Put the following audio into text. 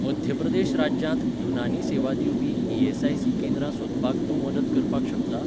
मध्य प्रदेश राज्यांत युनानी सेवा दिवपी ई.एस.आय.सी. केंद्रां सोदपाक तूं मदत करपाक शकता?